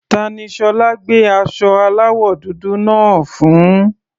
Ta ni Ṣọlá gbé aṣọ aláwọ̀ dúdú náà fún?